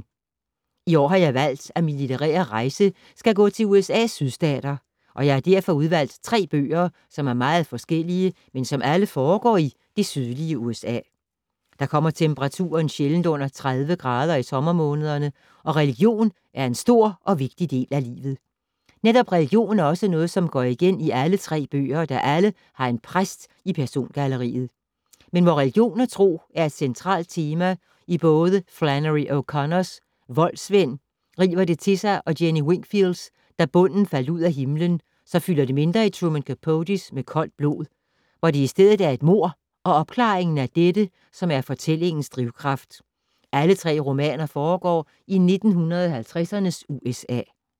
I år har jeg valgt, at min litterære rejse skal gå til USA’s sydstater, og jeg har derfor udvalgt tre bøger, som er meget forskellige, men som alle foregår i det sydlige USA. Der kommer temperaturen sjældent under 30 grader i sommermånederne, og religion er en stor og vigtig del af livet. Netop religion er også noget, som går igen i alle tre bøger, der alle har en præst i persongalleriet. Men hvor religion og tro er et centralt tema i både Flannery O’Connors Voldsmænd river det til sig og Jenny Wingfields Da bunden faldt ud af himlen, så fylder det mindre i Truman Capotes Med koldt blod, hvor det i stedet er et mord - og opklaringen af dette - som er fortællingens drivkraft. Alle tre romaner foregår i 1950’ernes USA.